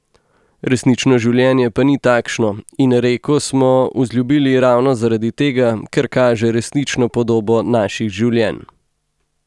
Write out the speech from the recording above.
Resnično življenje pa ni takšno, in Reko smo vzljubili ravno zaradi tega, ker kaže resnično podobo naših življenj.